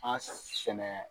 An ka taa sɛnɛ